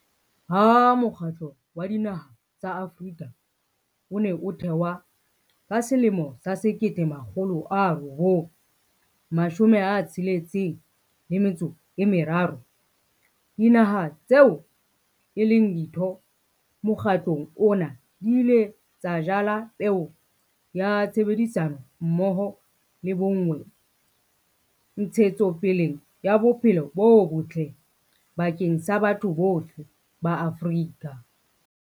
Ha Mokgatlo wa Dinaha tsa Afrika o ne o thewa ka 1963, dinaha tseo e leng ditho mokgatlong ona di ile tsa jala peo ya tshebedisano mmoho le bonngwe ntshetsopeleng ya bophelo bo botle bakeng sa batho bohle ba Afrika.